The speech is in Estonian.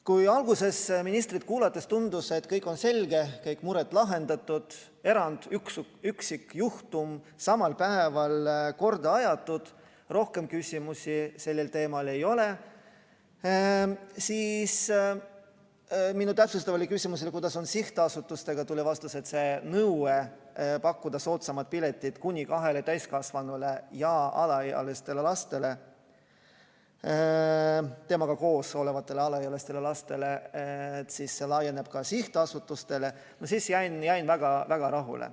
Kui alguses ministrit kuulates tundus, et kõik on selge, kõik mured lahendatud, üksikjuhtum samal päeval korda aetud, rohkem küsimusi sellel teemal ei ole, siis minu täpsustavale küsimusele, kuidas on sihtasutustega, tuli vastus, et nõue pakkuda soodsamaid pileteid kuni kahele täiskasvanule ja temaga koos olevatele alaealistele lastele, laieneb ka sihtasutustele – ma jäin väga-väga rahule.